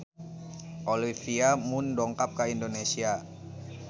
Olivia Munn dongkap ka Indonesia